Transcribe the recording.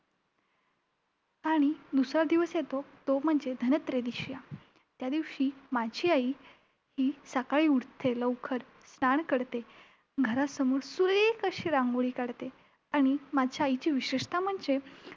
आणि दुसरा दिवस येतो, तो म्हणजे धनत्रयोदशीचा! त्यादिवशी माझी आई ही सकाळी उठते लवकर, स्नान करते. घरासमोर सुरे~ ख अशी रांगोळी काढते. आणि माझ्या आईची विशेषता म्हणजे